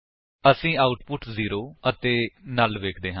ਅਸੀ output zero ਅਤੇ null ਵੇਖਦੇ ਹਾਂ